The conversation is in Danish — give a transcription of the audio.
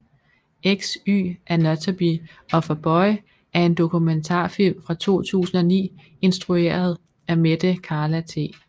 XY anatomy of a boy er en dokumentarfilm fra 2009 instrueret af Mette Carla T